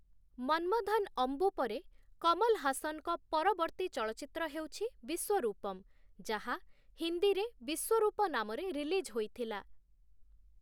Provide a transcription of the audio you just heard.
ମନ୍ମଧନ୍‌ ଅମ୍ବୁ ପରେ କମଲ ହାସନ୍‌ଙ୍କ ପରବର୍ତ୍ତୀ ଚଳଚ୍ଚିତ୍ର ହେଉଛି 'ବିଶ୍ୱରୂପମ୍', ଯାହା ହିନ୍ଦୀରେ 'ବିଶ୍ୱରୂପ' ନାମରେ ରିଲିଜ୍ ହୋଇଥିଲା ।